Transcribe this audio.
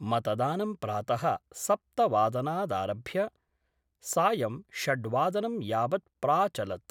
मतदानं प्रात: सप्तवादनादाभ्य सायं षड्वादनं यावत् प्राचलत्।